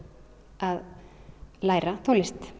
að læra tónlist